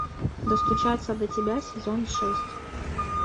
достучаться до тебя сезон шесть